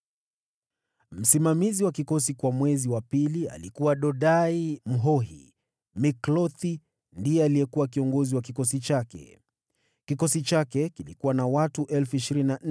Msimamizi wa kikosi kwa mwezi wa pili alikuwa Dodai Mwahohi. Miklothi ndiye alikuwa kiongozi wa kikosi chake. Kikosi chake kilikuwa na watu 24,000.